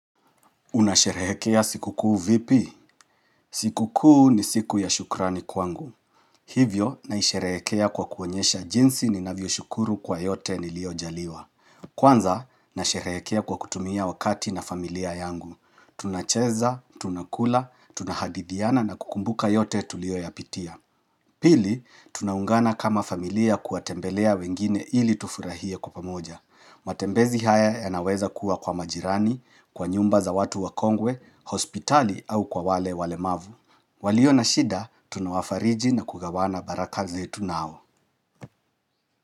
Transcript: Unasherehekea sikukuu vipi? Sikukuu ni siku ya shukrani kwangu. Hivyo naisheehekea kwa kuonyesha jinsi ninavyo shukuru kwa yote niliyojaliwa. Kwanza nasherehekea kwa kutumia wakati na familia yangu. Tunacheza, tunakula, tunahadithiana na kukumbuka yote tuliyoyapitia. Pili, tunaungana kama familia kuwatembelea wengine ili tufurahie kwa pamoja. Matembezi haya yanaweza kuwa kwa majirani, kwa nyumba za watu wakongwe, hospitali au kwa wale walemavu. Walio na shida, tunawafariji na kugawana baraka zetu nao.